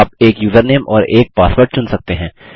आप एक यूज़रनेम और एक पासवर्ड चुन सकते हैं